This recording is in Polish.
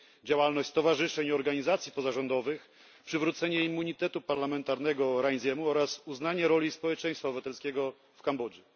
działalność stowarzyszeń i organizacji pozarządowych, przywrócenie immunitetu parlamentarnego Rainsy'emu oraz uznanie roli społeczeństwa obywatelskiego w Kambodży.